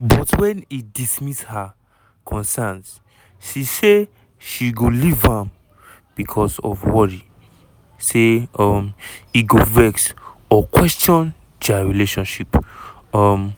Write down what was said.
but wen e dismiss her concerns she say she go leave am becos of worry say um e go vex or question dia relationship. um